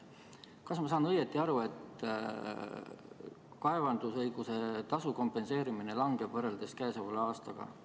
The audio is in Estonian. Kas ma saan õigesti aru, et kaevandusõiguse tasu kompenseerimine langeb, võrreldes käesoleva aastaga?